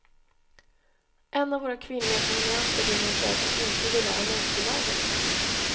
En av våra kvinnliga prenumeranter ringer och säger att hon inte gillar annonsbilagor.